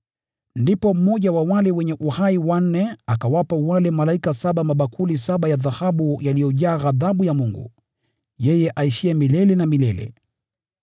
Ndipo mmoja wa wale viumbe wanne wenye uhai akawapa wale malaika saba mabakuli saba ya dhahabu yaliyojaa ghadhabu ya Mungu, yeye aishiye milele na milele.